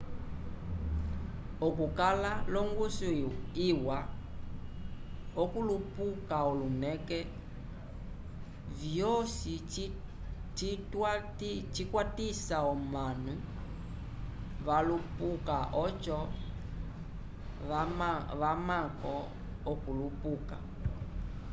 okukala longuso iwa okulupuka olineke vyosi cikwatisa omanu valupuka oco vamamko okulupuka